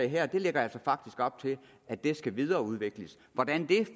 her lægger altså faktisk op til at det skal videreudvikles hvordan det